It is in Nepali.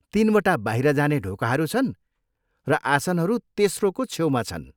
तिनवटा बाहिर जाने ढोकाहरू छन्, र आसनहरू तेस्रोको छेउमा छन्।